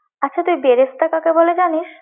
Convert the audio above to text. আচ্ছা তুই বেরেস্তা কাকে বলে জানিস?